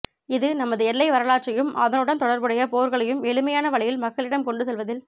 இது நமது எல்லை வரலாற்றையும் அதனுடன் தொடர்புடைய போர்களையும் எளிமையான வழியில் மக்களிடம் கொண்டு செல்வதில்